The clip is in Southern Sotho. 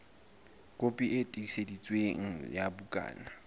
kopi e tiiseditsweng ya bukana